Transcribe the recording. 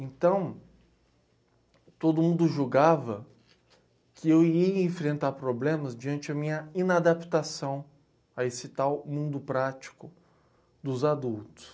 Então, todo mundo julgava que eu ia enfrentar problemas diante da minha inadaptação a esse tal mundo prático dos adultos.